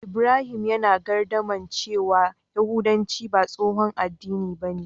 Ibrahim yana gardama cewa yahudanci ba tsohon addini bane.